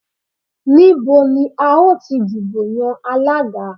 Níbo ni a ó ti dìbò yan Alága?